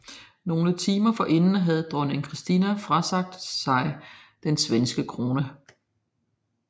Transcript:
Nogle timer forinden havde dronning Kristina frasagt sig den svenske krone